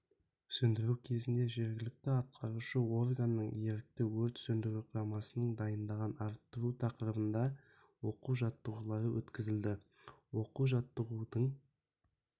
сөндіру кезінде жергілікті атқарушы органның ерікті өрт сөндіру құрамасының дайындығын арттыру тақырыбында оқу-жаттығу өткізілді оқу-жаттығудың